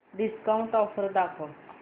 discount offer दाखव